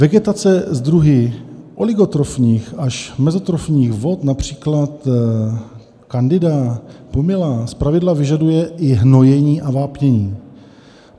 Vegetace s druhy oligotrofních až mezotrofních vod, například candida a pumila, zpravidla vyžaduje i hnojení a vápnění.